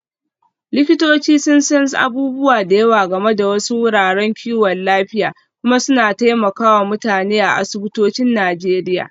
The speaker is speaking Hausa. Likitoci sun san abubuwa da yawa game da wasu wuraren kiwon lafiya kuma suna taimaka wa mutane a asibitocin Najeriya.